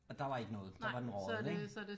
Og der var ikke noget der var den røget ik